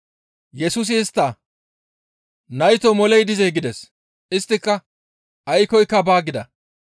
Yesusi istta, «Naytoo moley dizee?» gides; isttika, «Aykkoyka baa» gida.